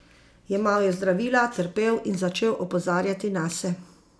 Jemal je zdravila, trpel in začel opozarjati nase.